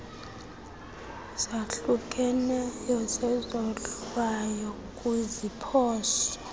zahlukeneyo zezohlwayo kwiziphoso